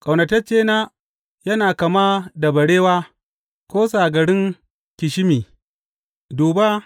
Ƙaunataccena yana kama da barewa ko sagarin ƙishimi Duba!